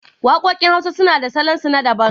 Waƙoƙin hausa suna da salon su na daban